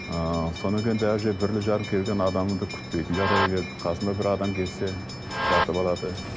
ыыы содан кейін келген адамыңды күтпейтін жағдайға келді қасыңда бір адам келсе жатып алады